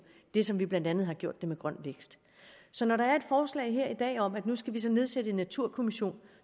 det som vi blandt andet har gjort med grøn vækst så når der er et forslag her i dag om at nu skal vi så nedsætte en naturkommission